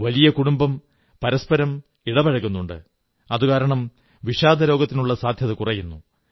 വലിയ കുടുംബം പരസ്പരം ഇടപഴകലുണ്ട് അതുകാരണം വിഷാദരോഗത്തിനുള്ള സാധ്യത കുറയുന്നു